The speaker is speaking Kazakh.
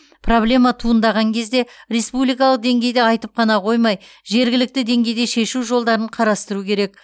проблема туындаған кезде республикалық деңгейде айтып қана қоймай жергілікті деңгейде шешу жолдарын қарастыру керек